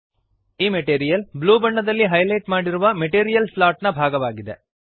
ಈ material blue ಬಣ್ಣದಲ್ಲಿ highlight ಮಾಡಿರುವ ಮೆಟೀರಿಯಲ್ ಸ್ಲಾಟ್ ನ ಭಾಗವಾಗಿದೆ